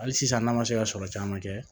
Hali sisan n'an ma se ka sɔrɔ caman kɛ